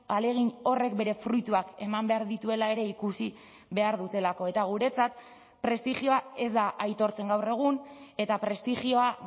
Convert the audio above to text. ahalegin horrek bere fruituak eman behar dituela ere ikusi behar dutelako eta guretzat prestigioa ez da aitortzen gaur egun eta prestigioa